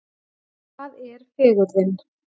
Hvað er fegurðin?